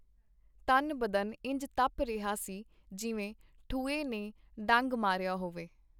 ਤਨ-ਬਦਨ ਇੰਜ ਤਪ ਰਿਹਾ ਸੀ, ਜਿਵੇਂ ਠੂਏਂ ਨੇ ਡੰਗ ਮਾਰਿਆ ਹੋਵੇ.